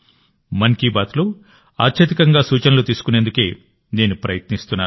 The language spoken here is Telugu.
మన్ కీ బాత్లో అత్యధికంగా సూచనలు తీసుకునేందుకే నేను ప్రయత్నిస్తున్నాను